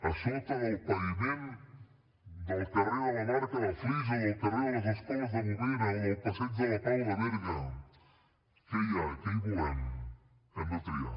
a sota del paviment del carrer de la barca de flix o del carrer de les escoles de bovera o del passeig de la pau de berga què hi ha què hi volem hem de triar